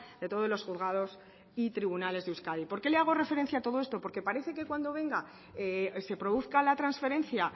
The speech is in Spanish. de todos los juzgados y tribunales de euskadi por qué le hago referencia a todo esto porque parece que cuando venga se produzca la transferencia